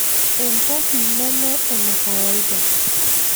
Entoki neme enekawaida.